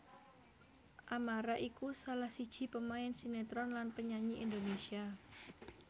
Amara iku salah siji pemain sinétron lan penyanyi Indonésia